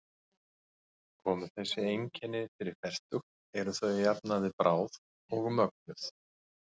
Komi þessi einkenni fyrir fertugt eru þau að jafnaði bráð og mögnuð.